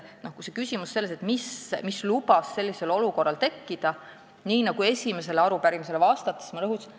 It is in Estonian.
Kui küsimus on selles, mis lubas sellisel olukorral tekkida, siis põhjust ma esimesele arupärimisele vastates juba rõhutasin.